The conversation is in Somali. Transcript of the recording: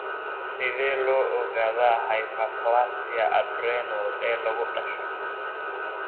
Sidee loo ogaadaa hyperplasia adrenal ee lagu dhasho?